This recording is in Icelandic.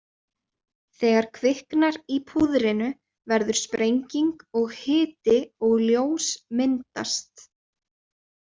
Þegar kviknar í púðrinu verður sprenging og hiti og ljós myndast.